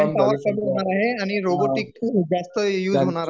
आहे आणि रोबोटिक खूप जास्त यूज होणार आहे.